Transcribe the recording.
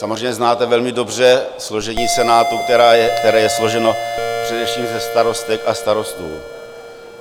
Samozřejmě znáte velmi dobře složení Senátu, které je složeno především ze starostek a starostů.